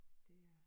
Det er